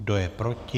Kdo je proti?